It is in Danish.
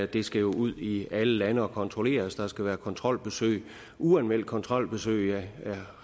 det skal jo ud i alle lande og kontrolleres der skal være kontrolbesøg uanmeldte kontrolbesøg og jeg